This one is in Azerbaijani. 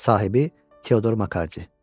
Sahibi Teodor Maci.